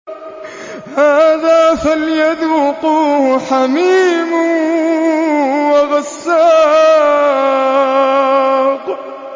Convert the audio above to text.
هَٰذَا فَلْيَذُوقُوهُ حَمِيمٌ وَغَسَّاقٌ